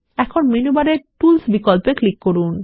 এখন মেনু বারের টুলস বিকল্পে ক্লিক করুন